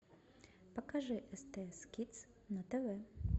покажи стс кидс на тв